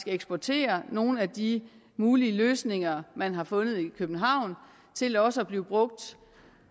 eksportere nogle af de mulige løsninger man har fundet i københavn til også at blive brugt